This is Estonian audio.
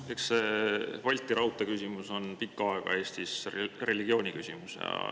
Eks see Balti raudtee küsimus on pikka aega Eestis olnud nagu religiooniküsimus.